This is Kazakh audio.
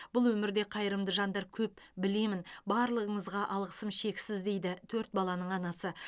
бұл өмірде қайырымды жандар көп білемін барлығыңызға алғысым шексіз дейді төрт баланың анасы